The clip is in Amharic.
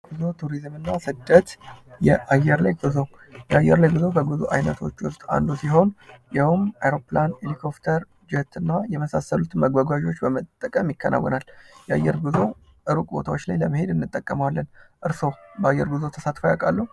ጉዞ ቱሪዝም እና ስደት የአየር ላይ ጉዞ የአየር ላይ ጉዞ የጉዞ አይነቶች ውስጥ አንዱ ሲሆን ይኸውም አሮፕላን ፣ኤሌኮፍተር እና ጄት የመሳሰሉት መጓጓዣዎች በመጠቀም ይከናወናል። የአየር ጉዞ እሩቅ ቦታዎች ላይ ለመሄድ እንጠቀመዋለን። እርሶ በአየር ጉዞ ተሳትፎ ያውቃሉ?